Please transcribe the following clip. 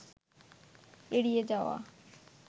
এড়িয়ে যাওয়া